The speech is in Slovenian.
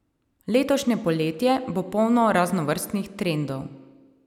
Letošnje poletje bo polno raznovrstnih trendov.